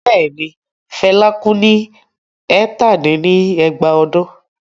Bẹ́ẹ̀ ni, Fela kú ní ẹ̀tàdín-ní-ẹgbàá ọdún.